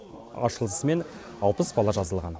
ашылысымен алпыс бала жазылған